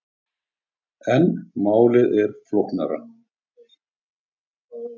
En málið er flóknara.